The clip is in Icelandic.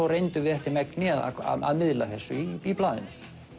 reyndum eftir megni að miðla þessu í blaðinu